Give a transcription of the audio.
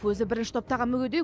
өзі бірінші топтағы мүгедек